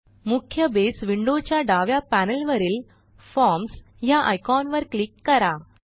मुख्य Base window च्या डाव्या पॅनेलवरील फॉर्म्स ह्या आयकॉनवर क्लिक करा